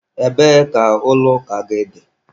Ebee ka ụlọ gị ụka dị?